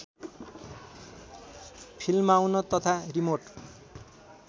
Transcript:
फिल्माउन तथा रिमोट